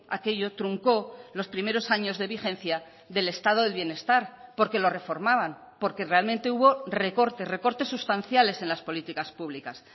aquello truncó los primeros años de vigencia del estado del bienestar porque lo reformaban porque realmente hubo recortes recortes sustanciales en las políticas públicas